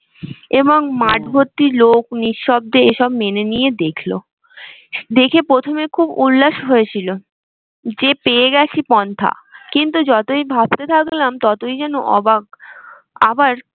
এবং লোক নিঃশব্দে এ সব মেনে নিয়ে দেখলো। দেখে প্রথমে খুব উল্লাস হয়েছিল যে পেয়ে গেছি পন্থা কিন্তু তুই যতই ভাবতে থাকলাম ততইযেন অবাক আবার